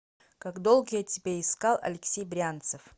как долго я тебя искал алексей брянцев